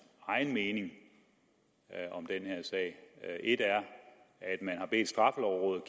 egen mening om den her sag er et er at man har bedt straffelovrådet